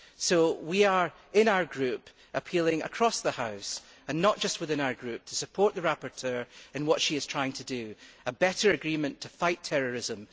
So we, in our group, are appealing across the House and not just within our group, to support the rapporteur in what she is trying to do, a better agreement to fight terrorism.